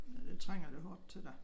Ja det trænger det hårdt til da